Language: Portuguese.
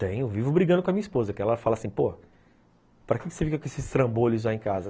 Tem, eu vivo brigando com a minha esposa, que ela fala assim, pô, para que você fica com esses trambolhos aí em casa?